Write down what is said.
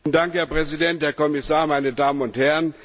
Herr Präsident, Herr Kommissar, meine Damen und Herren!